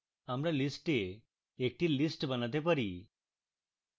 আমরা list a একটি list বানাতে পারি